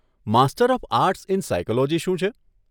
Master of arts in psychology શું છે?